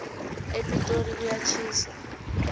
epitori kuyatjhisa